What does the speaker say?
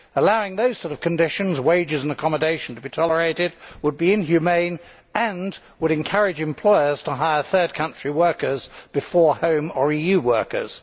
Allowing those sorts of conditions, wages and accommodation to be tolerated would be inhumane and would encourage employers to hire third country workers before home or EU workers.